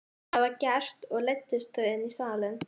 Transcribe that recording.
Það var gert og leiddust þau í salinn.